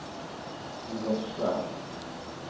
Olof Svärd